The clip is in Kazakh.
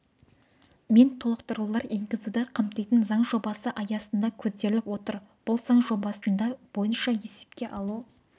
мен толықтырулар енгізуді қамтитын заң жобасы аясында көзделіп отыр бұл заң жобасында бойынша есепке алу